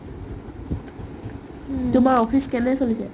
উম্, তোমাৰ office কেনে চলিছে ?